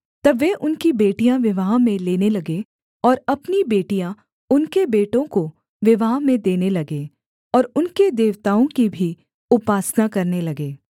तब वे उनकी बेटियाँ विवाह में लेने लगे और अपनी बेटियाँ उनके बेटों को विवाह में देने लगे और उनके देवताओं की भी उपासना करने लगे